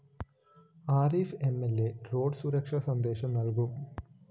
Arif M L A road സുരക്ഷാ സന്ദേശം നല്‍കും